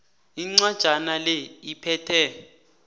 incwajana le iphethe